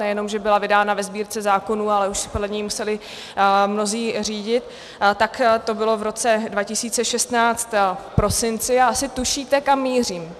Nejenom že byla vydána ve Sbírce zákonů, ale už se podle ní museli mnozí řídit, tak to bylo v roce 2016 v prosinci a asi tušíte, kam mířím.